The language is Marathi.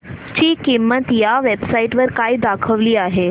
ची किंमत या वेब साइट वर काय दाखवली आहे